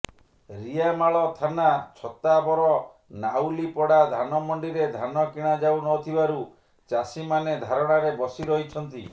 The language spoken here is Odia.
ରିଆମାଳ ଥାନା ଛତାବର ନାଉଲିପଡ଼ା ଧାନମଣ୍ଡିରେ ଧାନ କିଣାଯାଉନଥିବାରୁ ଚାଷୀମାନେ ଧାରଣାରେ ବସିରହିଛନ୍ତି